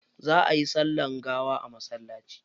Za ayi sallar gawa a masallaci.